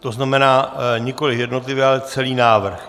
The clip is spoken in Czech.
To znamená nikoli jednotlivě, ale celý návrh.